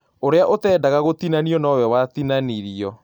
Ũria ũtĩndaga gũtinanio nowe watinanirio